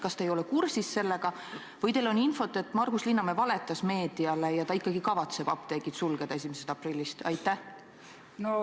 Kas te ei ole sellega kursis või teil on infot, et Margus Linnamäe valetas meediale ja ta ikkagi kavatseb apteegid 1. aprillist sulgeda?